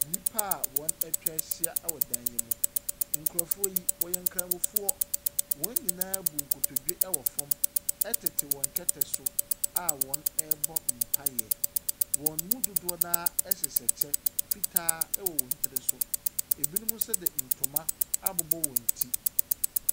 Nnipa wɔatwa ahyia wɔ dan yi mu. Nkurɔfoɔ yi, wɔyɛ nkramofoɔ, wɔn nyinaa abu nkotodwe wɔ fam tete wɔ kɛtɛ so a wɔrebɔ mpaeɛ. Wɔn mu dodoɔ no ara hyehyɛ kyɛ fitaa wɔ wɔn tiri so. Binom nso de ntoma abobɔ wɔn ti.